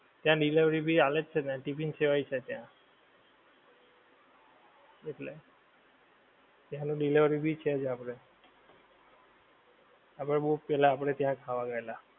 ત્યાં delivery ભી હાલે જ છે ને, tiffin સેવા એ છે ત્યાં. એટલે. ત્યાં ઓલું delivery ભી છે જ આપડે. આપડે બઉ પેલ્લા આપડે ત્યાં ખાવા ગયેલા,